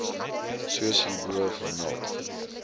soos hierbo vermeld